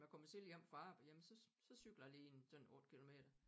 Var kommet tidligt hjem fra arbejde jamen så så cykler jeg lige en sådan 8 kilometer